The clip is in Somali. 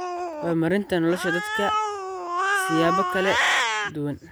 horumarinta nolosha dadka siyaabo kala duwan.